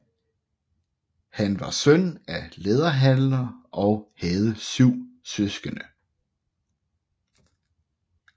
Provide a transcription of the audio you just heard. Han var søn af en læderhandler og havde 7 søskende